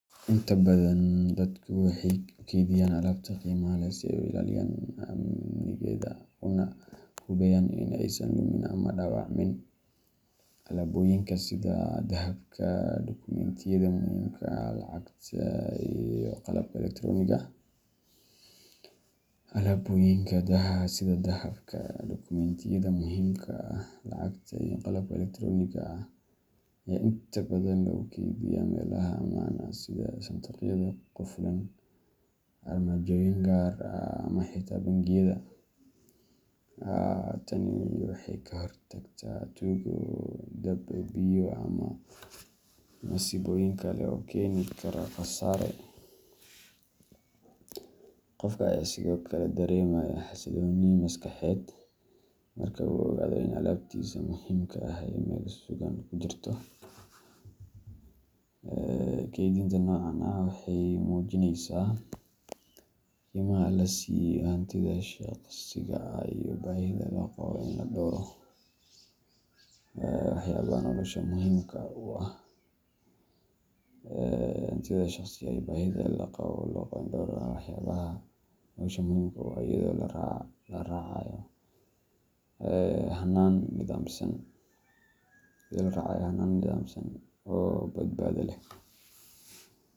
Inta badan dadku waxay u keydiyaan alaabta qiimaha leh si ay u ilaaliyaan amnigeeda una hubiyaan in aysan lumin ama dhaawacmin. Alaabooyinka sida dahabka, dukumentiyada muhiimka ah, lacagta, iyo qalabka elektaroonigga ah ayaa inta badan lagu keydiyaa meelaha ammaan ah sida sanduuqyada qufulan, armaajooyin gaar ah, ama xitaa bangiyada. Tani waxay ka hortagtaa tuugo, dab, biyo, ama masiibooyin kale oo keeni kara khasaare. Qofka ayaa sidoo kale dareemaya xasillooni maskaxeed marka uu ogaado in alaabtiisa muhiimka ahi ay meel sugan ku jirto. Keydinta noocan ah waxay muujinaysaa qiimaha la siiyo hantida shaqsiga ah iyo baahida loo qabo in la dhowro waxyaabaha nolosha muhiimka u ah, iyadoo la raacayo hannaan nidaamsan oo badbaado leh.